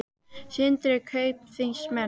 Sindri: Kaupþingsmenn?